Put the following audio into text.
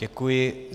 Děkuji.